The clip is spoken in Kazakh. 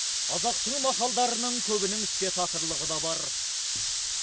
қазақтың мақалдарының көбінің іске татырлығы да бар